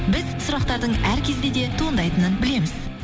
біз сұрақтардың әр кезде де туындайтынын білеміз